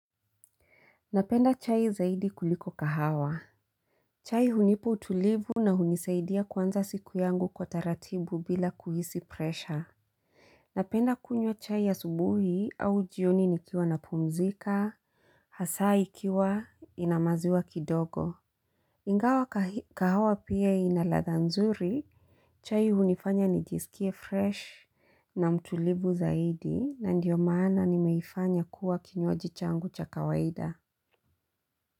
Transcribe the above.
Napenda chai zaidi kuliko kahawa. Chai hunipa utulivu na hunisaidia kuanza siku yangu kwa taratibu bila kuhisi pressure. Napenda kunywa chai asubuhi au jioni nikiwa na pumzika, hasa ikiwa ina maziwa kidogo. Ingawa kahawa pia ina ladha nzuri, chai hunifanya nijisikie fresh na mtulivu zaidi na ndio maana nimeifanya kuwa kinywaji changu cha kawaida.